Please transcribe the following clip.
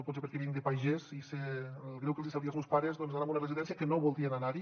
potser perquè vinc de pagès i sé el greu que els hi sabria als meus pares anar a una residència que no voldrien anar hi